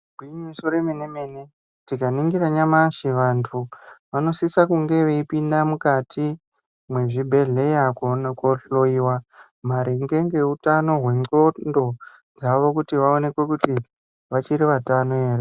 Igwinyiso remene-mene, tikaningira nyamashi vanthu, vanosisa kunge veipinda mukati ,mwezvibhedhleya kuone kohloiwa ,maringe ngeutano hwendxondo, dzavo kuti vaonekwe kuti, vachiri vatano ere .